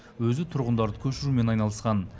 өзі тұрғындарды көшірумен айналысқан